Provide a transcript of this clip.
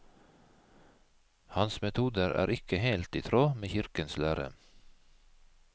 Hans metoder er ikke helt i tråd med kirkens lære.